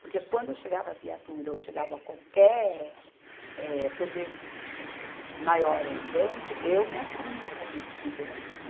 Porque quando chegava viatura ou chegava qualquer, eh, poder maior ali dentro, eu me assumia como liderança.